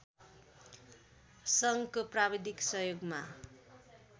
सङ्घको प्राविधिक सहयोगमा